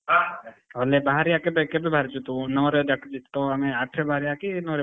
niose ଆଉ ନାଇ ବାହାରିଆ କେବେ କେବେ ବାହାରୁଛୁ ତୁ ନଅରେ ଡାକୁଛି ତ ଆମେ ଆଠରେ ବାହାରିଆ କି ନଅରେ?